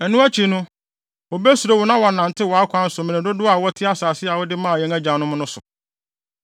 Ɛno akyi no wobesuro wo na wɔanantew wʼakwan so mmere dodow a wɔte asase a wode maa yɛn agyanom no so.